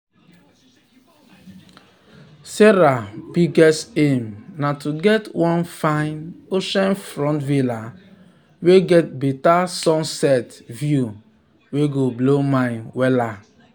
sarah biggest aim na to get one fine oceanfront villa wey get better sunset view wey go blow mind.